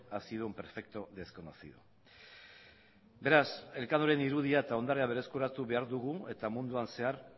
ha sido un perfecto desconocido beraz elkanoren irudia eta ondarea berreskuratu behar dugu eta munduan zehar